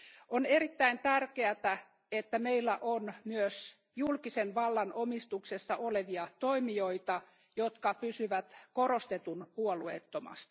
On erittäin tärkeää, että meillä on myös julkisen vallan omistuksessa olevia toimijoita, jotka pysyvät korostetun puolueettomina.